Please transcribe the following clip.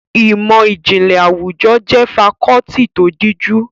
Ìmọ̀ ìjìnlẹ̀ àwùjọ jẹ́ fakọ́ọ́tì tó díjú.